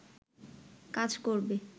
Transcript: কাজ করবে